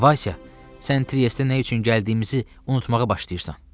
Vaysa, sən Triestə nə üçün gəldiyimizi unutmağa başlayırsan.